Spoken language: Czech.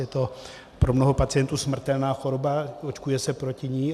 Je to pro mnoho pacientů smrtelná choroba, očkuje se proti ní.